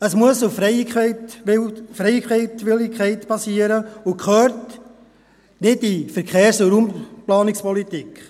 Dies muss auf Freiwilligkeit basieren und gehört nicht in die Verkehrs- und Raumplanungspolitik.